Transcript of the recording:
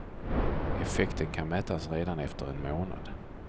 Effekten kan mätas redan efter en månad.